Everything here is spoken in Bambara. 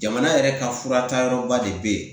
Jamana yɛrɛ ka fura taayɔrɔ ba de bɛ yen